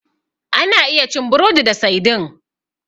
Ana iya cin burodi da saidin.